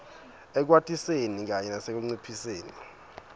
ekwatiseni kanye nasekunciphiseni